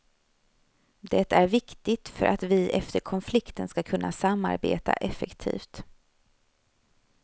Det är viktigt för att vi efter konflikten skall kunna samarbeta effektivt.